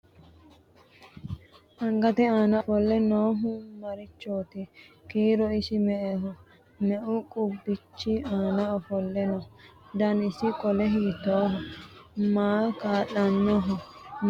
Angatte aanna ofolle noohu marichooti? Kiiro isi me'eho? Meu qubbichi aanna ofolle nooho? Danisi qole hiittoho? Maaho kaa'lanooho? Mayiinni loosaminno?